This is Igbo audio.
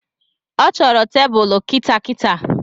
Ọ chọro tebulu kitaakitaa